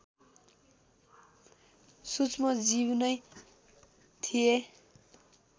सूक्ष्मजीव नै थिए